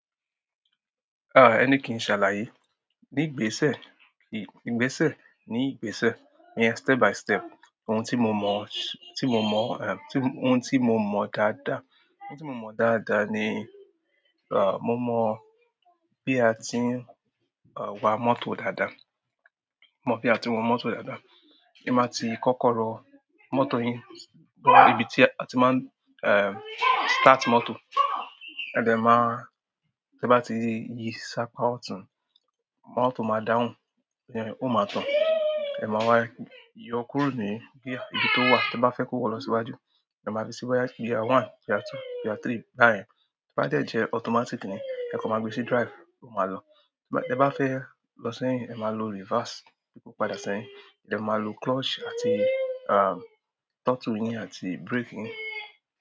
Ah, e ni kin, ṣàlàyé. Ní ìgbésẹ̀, ìgbésẹ̀, ní ìgbésẹ̀. Step by step. Ohun tí mo mọ, tí mo mọ, eh, ohun tí mo mọ dáadáa. Ohun tí mo mọ dáadáa ni, ah, mo mọ bí a ti ń, ah, wa mọ́tò dáadáa. Mo mọ bí a ti ń wa mọ́tò dáadáa. Ẹ máa ti kọ́kọ́ rọ mọ́tò yín, bo ibi tí a ti máa, eh, start mọ́tò. Ẹ dẹ̀ máa, tí ẹ bá ti yí sa apa otún, mọ́tò máa dáhùn, ó máa tàn. Ẹ máa wá yọ kúró ní gear ibi tó wà, tí ẹ bá fẹ́ kó wọ lọ sí iwájú. Ẹ máa fi si boya gear one, gear two, gear three, ba yen. Tí o bá de jẹ́ automatic ni, ẹ kan máa gbé sí drive, ó máa lọ. Tí ẹ bá fẹ́ lọ sẹ́yìn, ẹ máa lo reverse, bí kò padà sẹ́yìn. Ẹ máa lo clutch àti, ah, throttle yín àti brake yín.